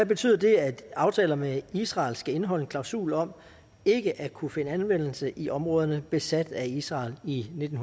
betyder det at aftaler med israel skal indeholde en klausul om ikke at kunne finde anvendelse i områderne besat af israel i nitten